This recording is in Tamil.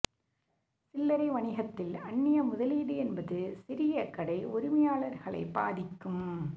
சில்லரை வணிகத்தில் அன்னிய முதலீடு என்பது சிறிய கடை உரிமையாளர்களை பாதிக்கும்